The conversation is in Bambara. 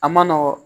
A ma nɔgɔn